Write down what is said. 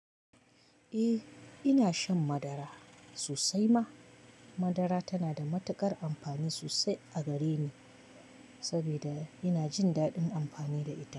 Eh, ina shan madara sosai ma madara tana da matuƙar amfani sosai a gareni, sabida ina jin daɗin amfani da ita.